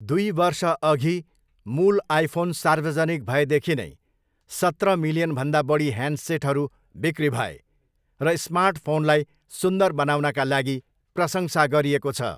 दुई वर्षअघि मूल आइफोन सार्वजनिक भएदेखि नै, सत्र मिलियनभन्दा बढी ह्यान्डसेटहरू बिक्री भए र 'स्मार्टफोनलाई सुन्दर बनाउन'का लागि प्रशंसा गरिएको छ।